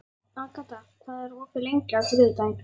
Agata, hvað er opið lengi á þriðjudaginn?